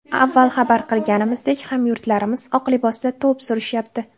Avval xabar qilganimizdek hamyurtlarimiz oq libosda to‘p surishyapti.